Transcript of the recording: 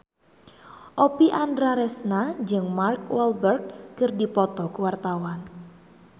Oppie Andaresta jeung Mark Walberg keur dipoto ku wartawan